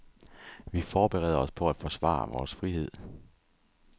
Vi forbereder os på at forsvare vores frihed.